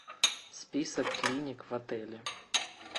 список клиник в отеле